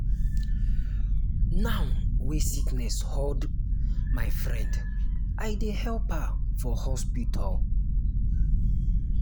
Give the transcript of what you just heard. now wey sickness hold my friend i dey help her for hospital.